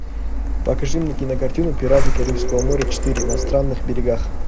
покажи мне кинокартину пираты карибского моря четыре на странных берегах